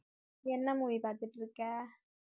என்ன movie பார்த்துட்டு இருக்க